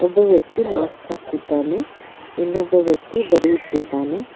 ಒಬ್ಬ ವ್ಯಕ್ತಿ ಮಾಸ್ಕ್ ಹಾಕಿದ್ದಾನೆ ಇನ್ನೊಬ್ಬ ವ್ಯಕ್ತಿ ಬರೆಯುತ್ತಿದ್ದಾನೆ.